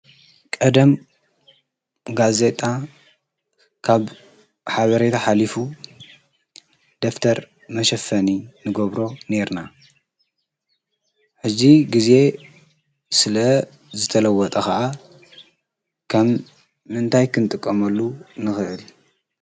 ቀደም ጋዜጣ ካብ ሓበሬት ኃሊፉ ደፍተር መሸፈኒ ንጐብሮ ኔርና እዙ ጊዜ ስለ ዝተለወጠ ኸዓ ከም ምንታይ ክንጥቆመሉ ንኽህል?